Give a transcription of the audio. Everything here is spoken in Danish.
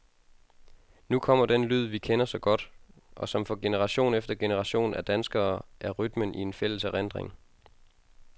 Nu kommer den lyd, vi kender så godt, og som for generation efter generation af danskere er rytmen i en fælles erindring.